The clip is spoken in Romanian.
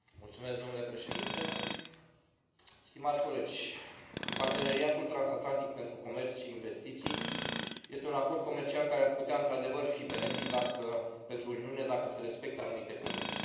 Domnule Președinte, stimați colegi, parteneriatul transatlantic pentru comerț și investiții este un acord comercial care ar putea, într adevăr, fi benefic pentru Uniune dacă se respectă anumite condiții.